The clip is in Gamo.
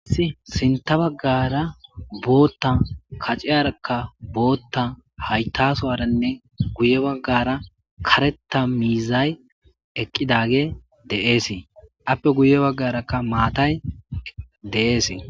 asi sinta baggara bootta kaceyarakka bootta haytasowaranne guye baggara kareta miizay eqqidage de7ees appe guye baggarakka maatay de7ees.